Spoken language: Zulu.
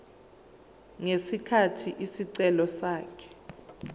ngesikhathi isicelo sakhe